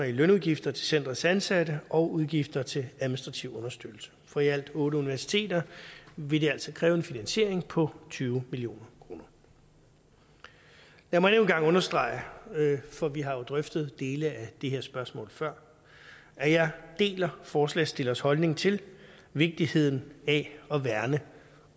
i lønudgifter til centerets ansatte og udgifter til administrativ understøttelse for i alt otte universiteter vil det altså kræve en finansiering på tyve million kroner lad mig endnu en gang understrege for vi har jo drøftet dele af det her spørgsmål før at jeg deler forslagsstillernes holdning til vigtigheden af at værne